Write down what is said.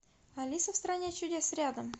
алиса в стране чудес рядом